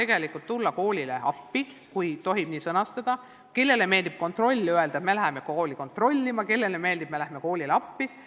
Me tahame tulla koolile appi, kui tohib nii sõnastada – kellele meeldib sõna "kontroll" ja öelda, et "läheme kooli kontrollima", kellele meeldib öelda, et "läheme koolile appi".